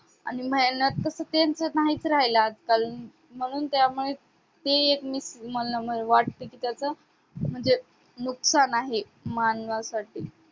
आणि मेहनत तसे त्यांचे नाहीच राहील आज-काल म्हणून त्यामुळे ते एक मला वाटते की त्याच म्हणजे नुकसान आहे मानवासाठी